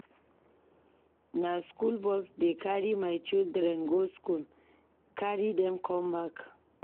Na skool bus dey carry my children go skool, carry dem com back.